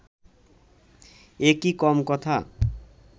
একি কম কথা